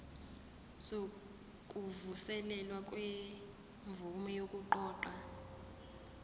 sokuvuselelwa kwemvume yokuqoqa